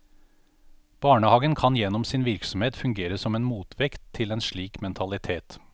Barnehagen kan gjennom sin virksomhet fungere som en motvekt til en slik mentalitet.